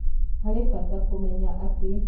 Harĩ bata kũmenya atĩ